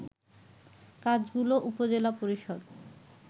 কাজগুলো উপজেলা পরিষদ